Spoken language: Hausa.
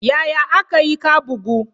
Yaya aka yi ka bugu?